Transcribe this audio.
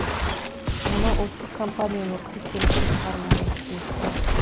мұны ұлттық компания өкілі теріске шығармады келісті